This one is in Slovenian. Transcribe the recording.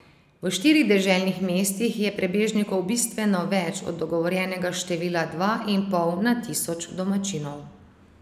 V štirih deželnih mestih je prebežnikov bistveno več od dogovorjenega števila dva in pol na tisoč domačinov.